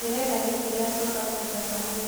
ndĩrenda gĩtĩ kĩa sofa kĩthaka mũno.